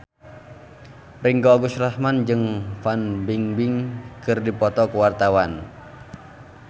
Ringgo Agus Rahman jeung Fan Bingbing keur dipoto ku wartawan